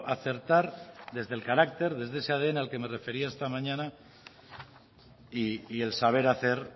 acertar desde el carácter desde ese al que me refería esta mañana y el saber hacer